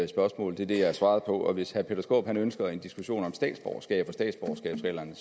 spørgsmål det er det jeg har svaret på hvis herre peter skaarup ønsker en diskussion om statsborgerskab og statsborgerskabsreglerne